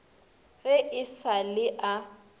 ge e sa le a